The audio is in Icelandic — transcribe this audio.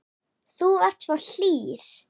Þú varst svo hlýr.